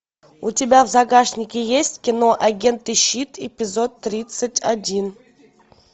у тебя в загашнике есть кино агент и щит эпизод тридцать один